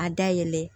A da yɛlɛ